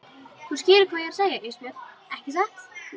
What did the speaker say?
Þú skilur hvað ég er að segja Ísbjörg ekki satt?